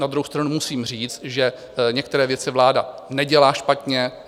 Na druhou stranu musím říct, že některé věci vláda nedělá špatně.